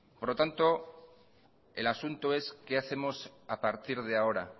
por lo tanto el asunto es qué hacemos a partir de ahora